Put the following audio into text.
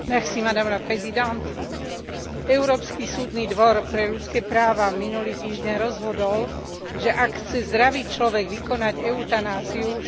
Európsky súdny dvor pre ľudské práva minulý týždeň rozhodol, že ak chce zdravý človek vykonať eutanáziu, štát má na to vytvoriť podmienky.